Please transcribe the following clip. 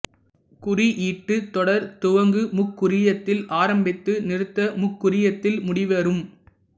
குறியீட்டுத் தொடர் துவங்கு முக்குறியத்தில் ஆரம்பித்து நிறுத்த முக்குறியத்தில் முடிவுறும்